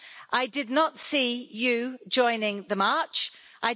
I did not see you joining the march, Mr Orbán.